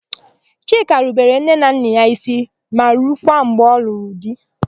Chika rubere nne na nna ya ísí ma rukwa mgbe ọ lụrụ di.